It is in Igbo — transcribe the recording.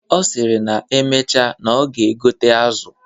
Ọ sịrị na emecha na ọ ga-egote azụ.